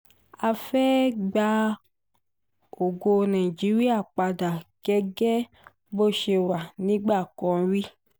a fẹ́ ẹ gba ògo nàìjíríà padà gẹ́gẹ́ bó ṣe wà nígbà kan rí